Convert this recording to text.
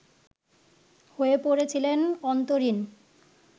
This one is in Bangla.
হয়ে পড়েছিলেন অন্তরীণ